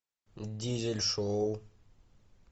дизель шоу